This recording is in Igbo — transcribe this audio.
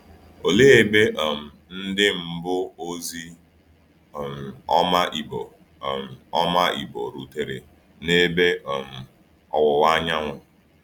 Òlee ebe um ndị mbụ ozi um ọma Igbo um ọma Igbo rutere n’ebe um ọwụwa anyanwụ?